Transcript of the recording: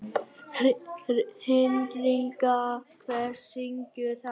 Hinrikka, hver syngur þetta lag?